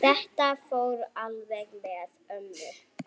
Þetta fór alveg með ömmu.